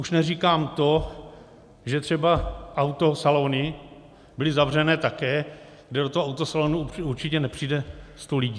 Už neříkám to, že třeba autosalony byly zavřené také, kde do toho autosalonu určitě nepřijde sto lidí.